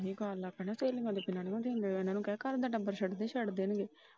ਜੇ ਇਹੀ ਕਰਨ ਲੱਗ ਪਿਆ ਨਾ ਘਰ ਦੇ ਟੱਬਰ ਛੇਤੀ ਛੱਡ ਦੇਣਗੇ।